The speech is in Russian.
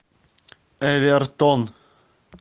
эвертон